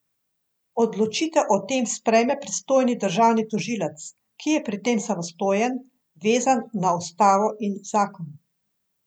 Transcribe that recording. Odločitev o tem sprejme pristojni državni tožilec, ki je pri tem samostojen, vezan na ustavo in zakon.